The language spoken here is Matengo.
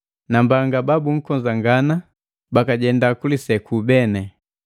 Nambanga bababunkonzagana bakajenda kuliseku beni!